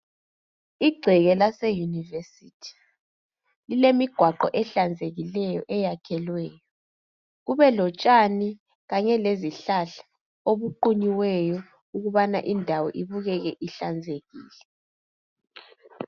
Igceke lase yunivesithi lilemigwaqo ehlanzekile eyakhelweyo kube lotshani kanye lezihlahla obuqunyiweyo ukuba indawo ibukeke ihlanzekile.